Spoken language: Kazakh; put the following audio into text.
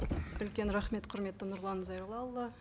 үлкен рахмет құрметті нұрлан зайроллаұлы